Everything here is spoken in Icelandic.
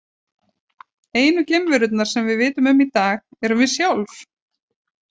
Einu geimverurnar sem við vitum um í dag erum við sjálf!